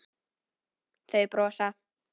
Þau brosa.